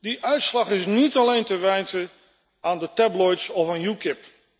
Die uitslag is niet alleen te wijten aan de tabloids of aan UKIP.